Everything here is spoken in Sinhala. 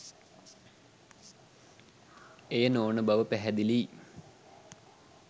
එය නොවන බව පැහැදිලියි.